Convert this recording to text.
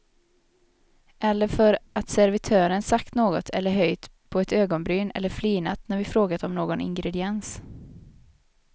Eller för att servitören sagt något eller höjt på ett ögonbryn eller flinat när vi frågat om någon ingrediens.